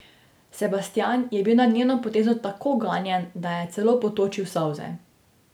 Sebastjan je bil nad njeno potezo tako ganjen, da je celo potočil solze.